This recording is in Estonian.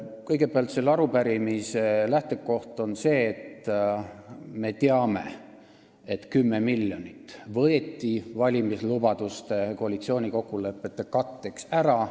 Kõigepealt, selle arupärimise lähtekoht on see, et me teame: 10 miljonit võeti valimislubaduste ja koalitsioonikokkulepete katteks ära.